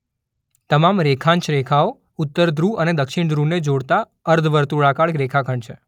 તમામ રેખાંશ રેખાઓ ઉત્તર ધ્રુવ અને દક્ષિણ ધ્રુવને જોડતા અર્ધવર્તુળાકાર રેખાખંડ છે.